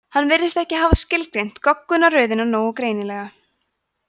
hann virðist ekki hafa skilgreint goggunarröðina nógu greinilega